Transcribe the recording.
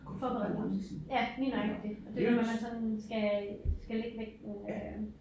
Forbered ja lige nøjagtigt det jo hvad man sådan skal øh skal lægge vægten øh